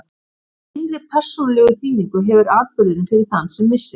Hvaða innri persónulegu þýðingu hefur atburðurinn fyrir þann sem missir?